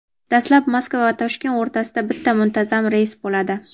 Dastlab Moskva va Toshkent o‘rtasida bitta muntazam reys bo‘ladi.